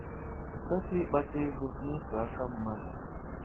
Ị kwesịghị ịkpata ego nịtụ aka mmadụ?